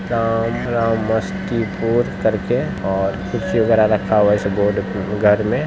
और कुछ रखा हुआ है बोर्ड घर में--- ]